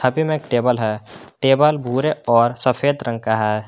में एक टेबल है टेबल भूरे और सफेद रंग का है।